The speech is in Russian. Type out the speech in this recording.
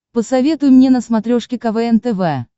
посоветуй мне на смотрешке квн тв